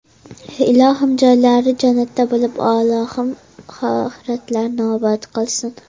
Ilohim joylari jannatdan bo‘lib, Allohim oxiratlarini obod qilsin!